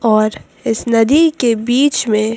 और इस नदी के बीच में--